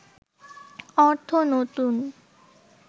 অর্থ নতুন